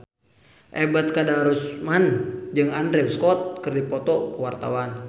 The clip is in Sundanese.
Ebet Kadarusman jeung Andrew Scott keur dipoto ku wartawan